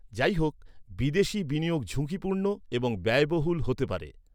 যাইহোক, বিদেশি বিনিয়োগ ঝুঁকিপূর্ণ এবং ব্যয়বহুল হতে পারে।